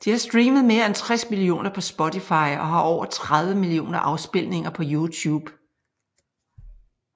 De har streamet mere end 60 millioner på spotify og har over 30 millioner afspilninger på youtube